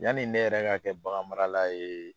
Yani ne yɛrɛ ka kɛ bagan marala ye